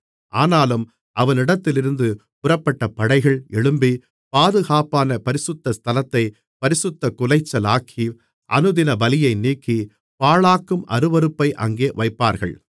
ஆனாலும் அவனிடத்திலிருந்து புறப்பட்ட படைகள் எழும்பி பாதுகாப்பான பரிசுத்த ஸ்தலத்தைப் பரிசுத்தக்குலைச்சலாக்கி அனுதினபலியை நீக்கி பாழாக்கும் அருவருப்பை அங்கே வைப்பார்கள்